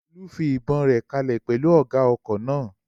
Olú fi ìbọn rẹ̀ kalẹ̀ pẹ̀lú ọ̀gá ọkọ̀ náà